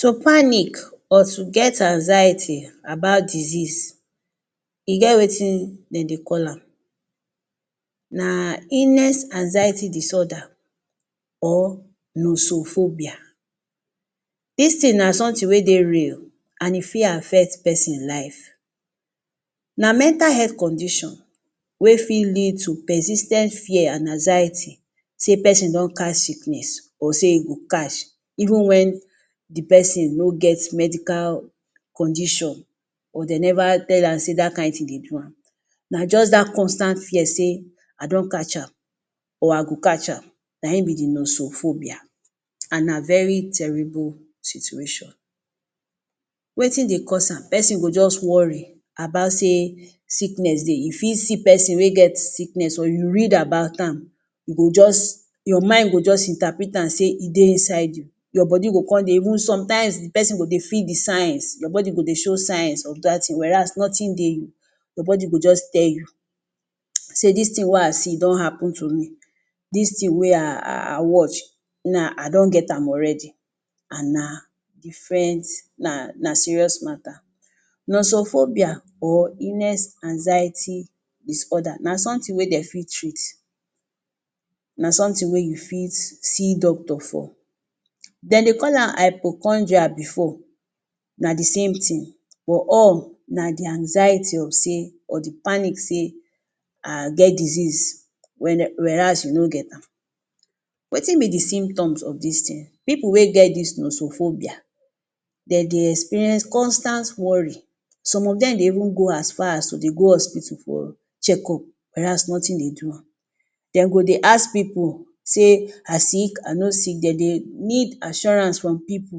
To panic or to get anxiety na bad disease, e get wetin de dey call am. Na illness Anxiety Disorder or nosophobia. Dis thing na something wey dey real and e fit affect pesin life. Na mental health condition wey fit lead to persis ten t fear and anxiety, sey pesin don catch sickness, or sey he go catch, even when the person no get medical condition, or de never tell am say dat kind thing dey do am. Na just dat constant fear sey, I don catch am or I go catch am. Na im be the nosophobia and na very terrible situation. Wetin dey cause am? Pesin go just worry about sey sickness dey. E fit see person wey get sickness or you read about am, you go just, your mind go just interpret am sey e dey inside you. Your body go con dey even sometimes the pesin go dey feel the signs. Your body go dey show signs of dat thing, whereas nothing dey you. Your body go just tell you sey, dis thing wey I see don happen to me. Dis thing wey I I watch, now I don get am already and na different na na serious matter. Nosophobia or Illness Anxiety Disorder, na something wey dem fit treat, na something wey you fit see doctor for. De dey call am hypochondria before, na the same thing but all na the anxiety of sey or the panic sey, I get disease, whereas you no get am. Wetin be the symptoms of dis thing? Pipu wey get dis nosophobia. De dey experience constant worry. Some of dem dey even go as far as, to dey go hospital for check-up, whereas nothing dey do am. De go dey ask pipu, say, I sick? I no sick? De dey need assurance from pipu.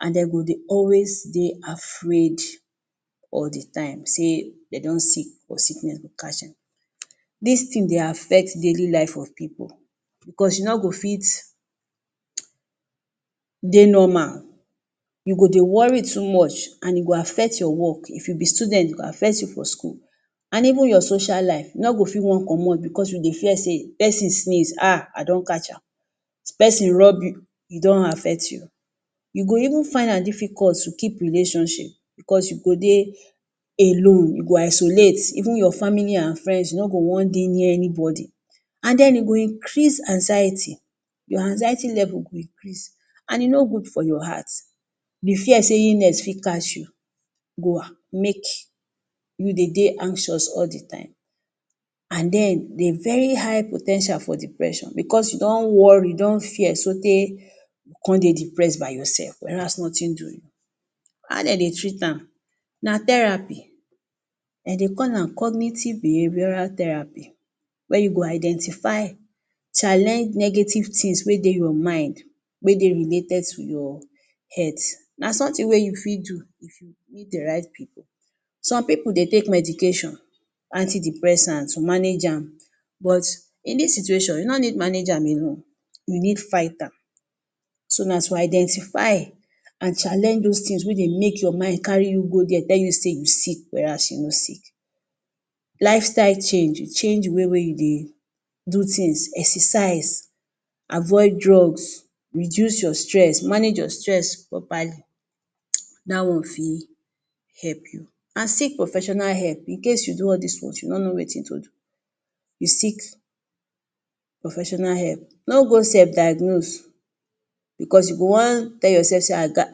And de go dey always dey afraid all the time. Sey, de don sick or sickness go catch dem. Dis thing dey affect daily life of pipu because you no go fit dey normal. You go dey worry too much, and e go affect your work. If you be student, e go affect you for school. And even your social life, you no go fit wan comot because you dey fear sey if person sneeze ah, I don catch am. If person rub you, e don affect you. You go even find am difficult to keep relationship because you go dey alone. You go isolate. Even your family and friends, you no go wan dey near anybody. And den e go increase anxiety. Your anxiety level go increase. And e no good for your heart. The fear sey illness fit catch you go make you dey dey anxious all the time. And den, the very high po ten tial for depression because you don worry, you don fear so tey you con dey depressed by yourself, whereas nothing do you. How de dey treat am? Na therapy. De dey call am cognitive behavioural therapy. Where you go identify, challenge negative things wey dey your mind. Wey dey related to your health. Na something wey you fit do, if you meet the right people. Some pipu dey take medication. Antidepressants to manage am. But, in dis situation, you no need manage am alone. You need fight am. So, na to identify and challenge dos things wey dey make your mind carry you go dere, tell you say you sick, whereas you no sick. Lifestyle change. You change the way wey you dey do things. Exercise, avoid drugs, reduce your stress, manage your stress properly. Dat one fit help you. And seek professional help In case you do all dis ones, you no know wetin to do. You seek professional help. No go self-diagnose because you go wan tell yourself sey, I gat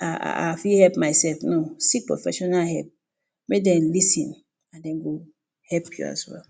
I I fit help myself, no. Seek professional help. Make dem lis ten and de go help you as well